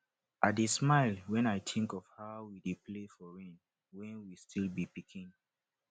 i dey smile when i think of how we dey play for rain when we still be pikin